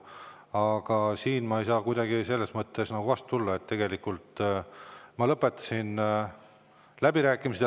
Aga siin ma ei saa selles mõttes kuidagi vastu tulla, sest ma lõpetasin läbirääkimised.